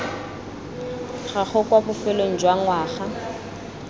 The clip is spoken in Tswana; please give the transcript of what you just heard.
gago kwa bofelong jwa ngwaga